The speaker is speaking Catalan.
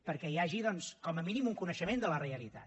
perquè hi hagi doncs com a mínim un coneixement de la realitat